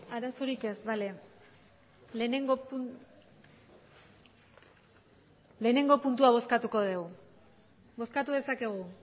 arazorik ez bale batgarrena puntua bozkatuko dugu bozkatu dezakegu